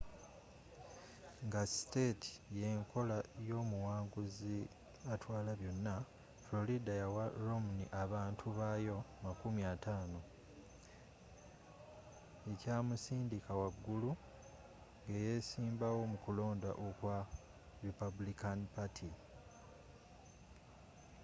nga state y'enkola y'omuwanguzi atwala byonna florida yawa romney abantu bayo makumi ataano ekyamusindika waggulu ng'eyesimbawo mu kulonda okwa republican party